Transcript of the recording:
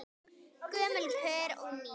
Gömul pör og ný.